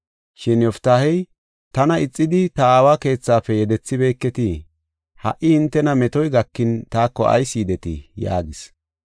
Shin Yoftaahey, “Tana ixidi, ta aawa keethaafe yedethibeeketii? Ha77i hintena metoy gakin taako ayis yidetii?” yaagis.